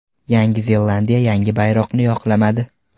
Yangi Zelandiya yangi bayroqni yoqlamadi.